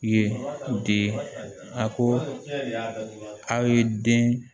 Ye di a ko aw ye den